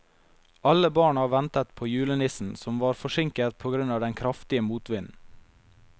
Alle barna ventet på julenissen, som var forsinket på grunn av den kraftige motvinden.